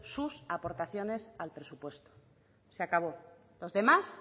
sus aportaciones al presupuesto se acabó los demás